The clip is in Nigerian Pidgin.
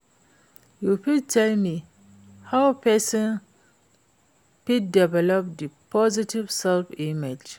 you fit tell me how pesin fit develop di positive self-image?